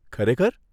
ખરેખર ?